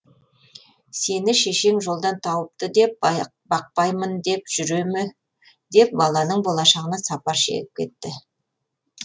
сені шешең жолдан тауыпты деп бақпаймын деп жүре ме деп баланың болашағына сапар шегіп кетті